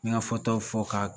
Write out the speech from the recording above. N mi ka fɔtaw fɔ ka